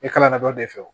E kalanna dɔ de fɛ